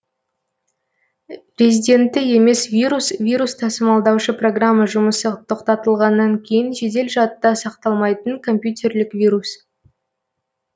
резидентті емес вирус вирус тасымалдаушы программа жұмысы тоқтатылғаннан кейін жедел жадта сақталмайтын компьютерлік вирус